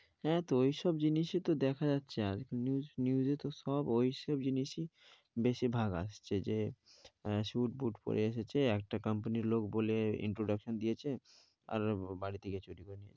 হ্যাঁ তো ওই সব জিনিসই দেখা যাচ্ছে আর news এ তো ওই সব জিনিসই বেশির ভাগ আসছে যে স্যুটবুট পরে এসেছে একটা কোম্পানির লোক বলে introduction দিয়েছে আর বাড়ি থেকে চুরি করে নিয়েছে।